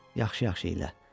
Yaxşı-yaxşı eylə.